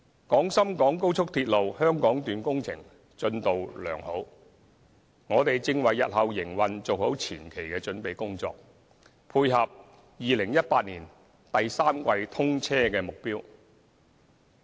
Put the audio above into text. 廣深港高速鐵路香港段工程進度良好，我們正為日後營運做好前期的準備工作，配合2018年第三季通車的目標。